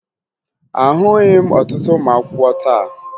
Ahụghị m ọtụtụ ụmụakwụkwọ taa